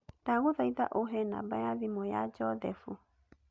Ndagũthaitha ũhe namba ya thimũ ya Joseph